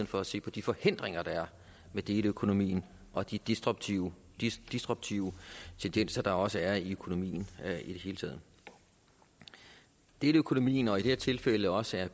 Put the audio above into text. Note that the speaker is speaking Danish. for at se på de forhindringer der er med deleøkonomien og de disruptive disruptive tendenser der også er i økonomien i det hele taget deleøkonomien og i de her tilfælde også